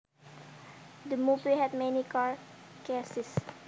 The movie had many car chases